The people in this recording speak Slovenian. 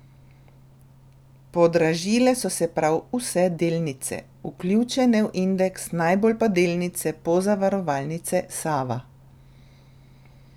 Podražile so se prav vse delnice, vključene v indeks, najbolj pa delnice Pozavarovalnice Sava.